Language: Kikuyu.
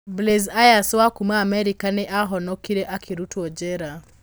Blaze Ayers, wa kuuma Amerika nĩ aahonokire akĩrutwo njera.